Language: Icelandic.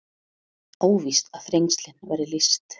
Óvíst að Þrengslin verði lýst